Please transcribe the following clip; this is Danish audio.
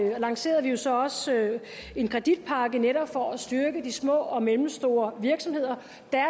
lancerede vi så også en kreditpakke netop for at styrke de små og mellemstore virksomheder